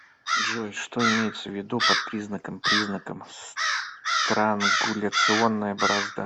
джой что имеется в виду под признаком признаком странгуляционная борозда